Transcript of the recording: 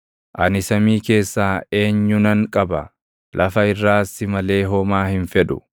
Ani samii keessaa eenyunan qaba? Lafa irraas si malee homaa hin fedhu.